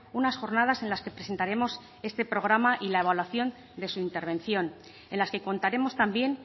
unas jornadas en las que presentaremos este programa y la evaluación de su intervención en las que contaremos también